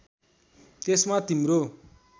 त्यसमा तिम्रो